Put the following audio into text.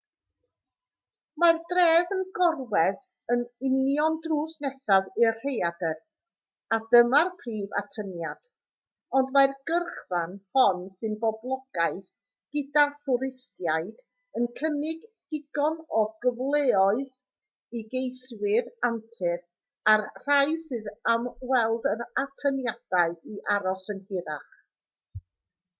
mae'r dref yn gorwedd yn union drws nesaf i'r rhaeadr a dyma'r prif atyniad ond mae'r gyrchfan hon sy'n boblogaidd gyda thwristiaid yn cynnig digon o gyfleoedd i geiswyr antur a'r rhai sydd am weld yr atyniadau i aros yn hirach